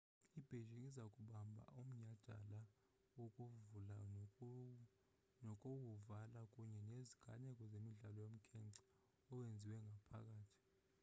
i-beijing iza kubamba umnyhadala wokuvula nowokuvala kunye neziganeko zemidlalo yomkhence owenziwe ngaphakathi